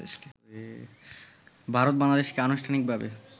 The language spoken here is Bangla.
ভারত-বাংলাদেশকে আনুষ্ঠানিকভাবে